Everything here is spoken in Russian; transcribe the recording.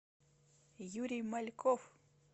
юрий мальков